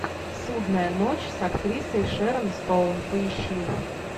судная ночь с актрисой шерон стоун поищи